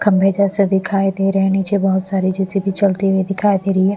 खंभे जैसे दिखाई दे रहे हैं नीचे बहुत सारी जैसी भी चलती हुई दिखाई दे रही है।